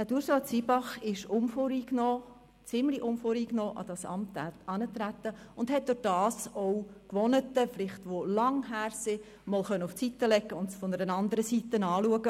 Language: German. Ursula Zybach ist ziemlich unvoreingenommen an das Amt herangetreten, hat dadurch auch langjährige Gewohnheiten beiseite legen können und das Ganze mal von einer andere Seite angeschaut.